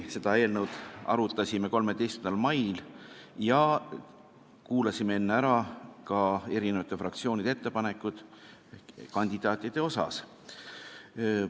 Seda eelnõu arutasime samuti 13. mail ja kuulasime enne ära eri fraktsioonide ettepanekud kandidaatide kohta.